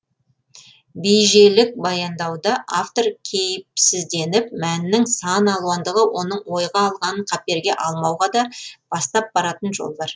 бейжелік баяндауда автор кейіпсізденіп мәннің сан алуандығы оның ойға алғанын қаперге алмауға да бастап баратын жол бар